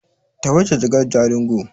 Tafi da jakar Jalingo!